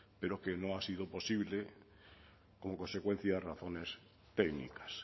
pero que no ha sido posible como consecuencia a razones técnicas